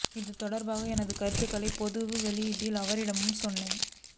இது தொடர்பாக எனது கருத்துகளை பொது வெளியிலும் அவரிடமும் சொன்னேன்